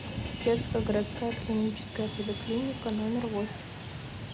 детская городская клиническая поликлиника номер восемь